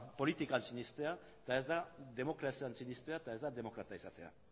politikan sinestea eta ez da demokrazian sinestea eta ez da demokrata izatea